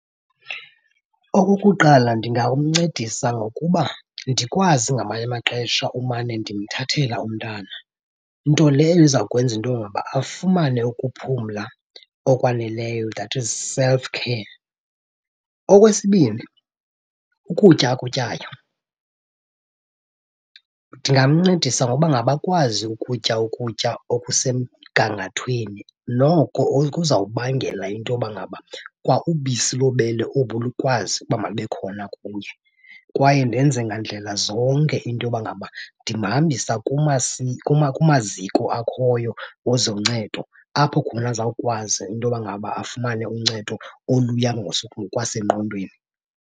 Okokuqala, ndingamncedisa ngokuba ndikwazi ngamanye amaxesha umane ndimthathela umntana, nto leyo izawukwenza into yoba ngaba afumane ukuphumla okwaneleyo, that is self care. Okwesibini, ukutya akutyayo. Ndingamncedisa ngoba ngaba akwazi ukutya ukutya okusemgangathweni noko okuzawubangela into yoba ngaba kwa ubisi lobele obu lukwazi uba malube khona kuye. Kwaye ndenze ngandlela zonke into yoba ngaba ndimhambisa kumaziko akhoyo wezoncedo apho khona azawukwazi into yoba ngaba afumane uncedo oluya ngokwasengqondweni.